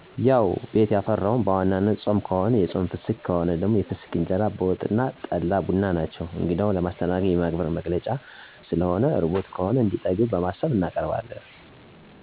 ያዉ ቤት ያፈራዉን፦ በዋናነት ጾም ከሆነ የጾም ፍስክ ከሆነ የፍሰክ እንጀራ በወጥ አና ጠላ፣ ቡና ናቸዉ። እንግዳዉን ለማስተናገድ፣ የማክበር መገለጫ ስለሆነ፣ ርቦት ከሆነ እንዲጠግብ በማሰብ እናቀርባለን። አወ አሉ ለምሳሌ አዲስ የልጅ ባል ሲመጣ አክብረን በግ አናርዳለን፣ ለሌሎች አንግዶች ደግሞ መጀመሪያ አጎዛ አንጥፈን እናስቀምጣለን፣ ጠላ በዋንጫ እንጀራ በመጣጣቢት በአርጎና የሻኛ ስጋ፣ በቂቤ የታሸ ጨዉ፣ ጾም ከሆነ እልበት፣ ክክ የመሳሰሉት ናቸዉ።